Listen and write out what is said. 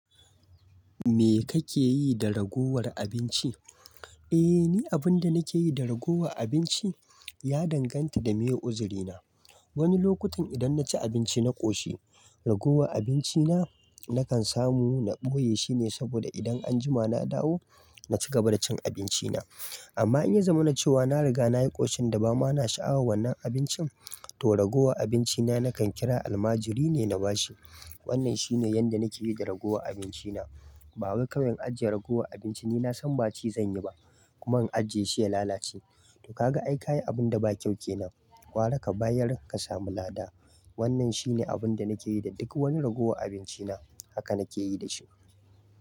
Me kake yi da ragowar abinci? Eh ni abinda nakeyi da ragowa abinci ya danganta da meye uzurina. Wani lokutan idan naci abinci na ƙoshi ragowa abinci na nakan samu na ɓoye shine saboda idan anjima na dawo na cigaba da cin abinci na. Amma in ya zama na cewa na riga nayi ƙoshin da ba ma na sha'awar wannan abincin to ragowa abinci na nakan ƙira almajiri ne na bashi. Wannan shine yanda nake yi da ragowa abinci na. Ba wai kawai in ajiye ragowar abinci ni na san ba ci zan yi ba kuma in ajiye shi ya lalace. To kaga ai kayi abunda ba kyau kenan. Gwara ka bayar ka samu lada. Wannan shi ne abinda nake yi da duk wani ragowar abinci na haka nake yi da shi.